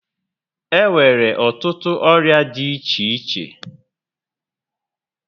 E nwere ọtụtụ ọrịa dị iche iche